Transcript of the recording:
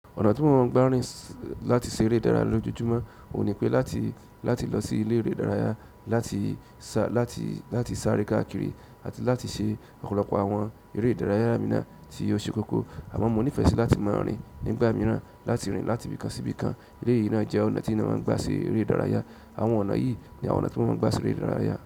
Ọ̀nà tí mo ń gbárìn láti ṣe eré ìdárayá lójoojúmọ́ ò ní pé láti lọ sí ilé eré ìdárayá láti sáré káàkiri àti láti ṣe ọ̀pọ̀lọpọ̀ àwọn eré ìdárayá mìíràn tí ó ṣe kókó. Àmọn mọ nífẹ̀ẹ́ sí láti máa rìn nígbà mìíràn, láti rìn láti ibì kan sí ibì kan. Elé yìí náà jẹ́ ọ̀nà tí eyan máa ń gbà se eré ìdárayá. Àwọn ọ̀nà yìí ni àwọn tí mọ máa ń gbà seberé ìdárayá.